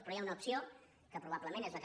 però hi ha una opció que probablement és la que